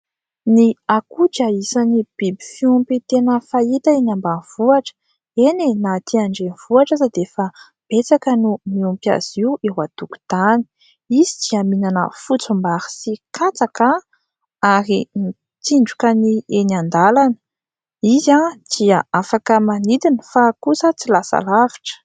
Ny akoho dia isan'ny biby fiompy tena fahita eny ambanivohitra, eny e!, na aty andrenivohitra aza dia efa betsaka no miompy azy io eo antokotany, izy dia mihinana fotsim-bary sy katsaka ary mitsindroka ny eny an-dalana, izy dia afaka manidina fa kosa tsy lasa lavitra.